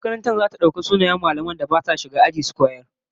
Makarantar zata fara daukar sunayen mallaman da basu shiga aji su koyar